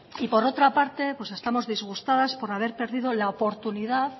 y por otra parte estamos disgustadas por haber perdido